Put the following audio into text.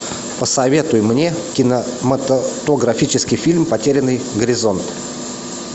посоветуй мне кинематографический фильм потерянный горизонт